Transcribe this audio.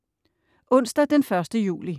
Onsdag den 1. juli